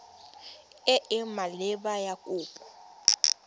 e e maleba ya kopo